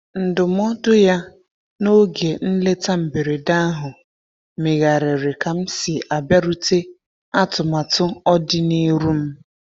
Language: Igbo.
Ndụmọdụ ya n'oge nleta mberede ahụ megharịrị ka m si abịarute atụmatụ ọdi n'iru m.